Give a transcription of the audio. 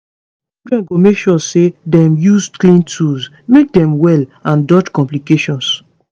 children go make sure say dem use clean tools make dem well and dodge complications